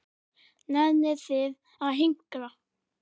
Nennið þið að hinkra?